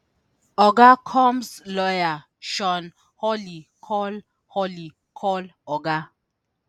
oga combs lawyer shawn holley call holley call oga